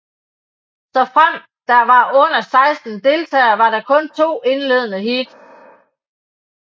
Såfremt der var under 16 deltagere var der kun to indledende heats